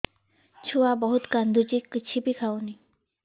ଛୁଆ ବହୁତ୍ କାନ୍ଦୁଚି କିଛିବି ଖାଉନି